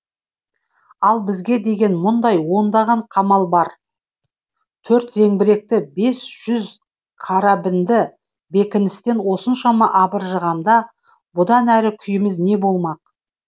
ал бізге деген мұндай ондаған қамал бар төрт зеңбіректі бес жүз карабінді бекіністен осыншама абыржығанда бұдан әрі күйіміз не болмақ